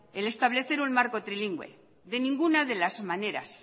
el establecer un marco trilingüe de ninguna de las maneras